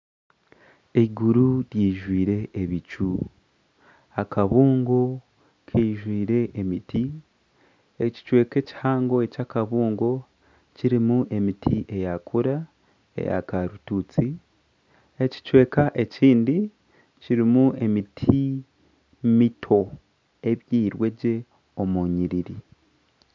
Iguru rijwire ebicu, akabungo kaijwire emiti, ekicweka ekihango ekya akabungo kirimu emiti eyakura eya karitusi ekicweka ekindi kirimu emiti mito ebyirwe gye omu nyiriri.